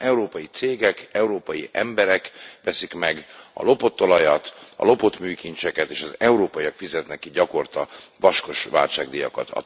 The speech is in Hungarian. Hiszen európai cégek, európai emberek veszik meg a lopott olajat, a lopott műkincseket, és az európaiak fizetnek így gyakorta vaskos váltságdíjakat.